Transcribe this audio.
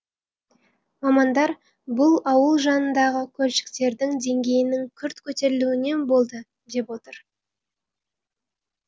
мамандар бұл ауыл жанындағы көлшіктердің деңгейінің күрт көтерілуінен болды деп отыр